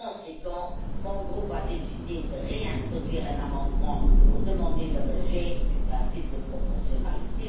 Par conséquent, mon groupe a décidé de réintroduire un amendement pour demander le rejet du principe de proportionnalité.